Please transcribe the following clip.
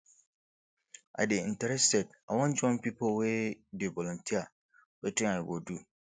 i dey interested i wan join pipo wey dey volunteer wetin i go do